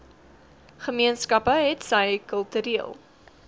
gemeenskappe hetsy kultureel